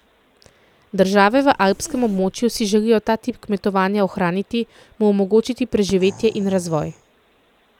Države v alpskem območju si želijo ta tip kmetovanja ohraniti, mu omogočiti preživetje in razvoj.